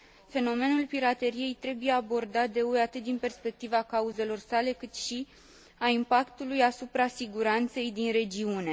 Fenomenul pirateriei trebuie abordat de UE atât din perspectiva cauzelor sale, cât și a impactului asupra siguranței din regiune.